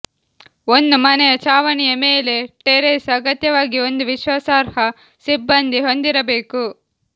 ಒಂದು ಮನೆಯ ಛಾವಣಿಯ ಮೇಲೆ ಟೆರೇಸ್ ಅಗತ್ಯವಾಗಿ ಒಂದು ವಿಶ್ವಾಸಾರ್ಹ ಸಿಬ್ಬಂದಿ ಹೊಂದಿರಬೇಕು